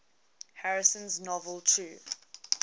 harrison's novel true